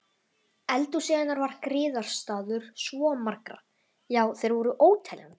Eldhúsið hennar var griðastaður svo margra, já þeir voru óteljandi.